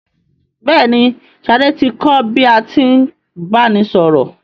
Bẹ́ẹ̀ ni, Ṣadé ti kọ́ bí a tí ń báni sọ̀rọ̀.